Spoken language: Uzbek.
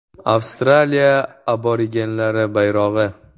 Avstraliya aborigenlari bayrog‘i.